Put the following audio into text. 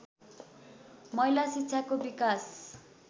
महिला शिक्षाको विकास